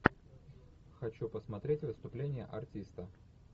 хочу посмотреть выступление артиста